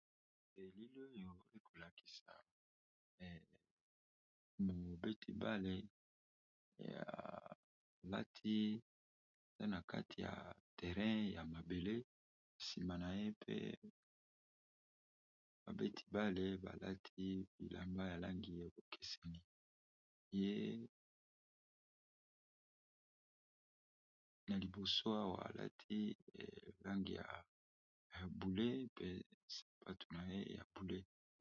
Na elili oyo ekolakisa mobeti ball ya alati aza na kati terrain ya mabele sima naye pe ba beti ball balati bilamba ya ba langi ekesenyi ye naliposo Awa alati langu ya bonzinga pe na sapato ya langi wana.